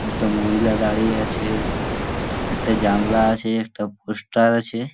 একটা মহিলা দাঁড়িয়ে আছে | একটা জানলা আছে একটা পোস্টার আছে ।